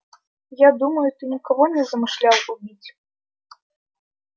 я думаю ты никого не замышлял убить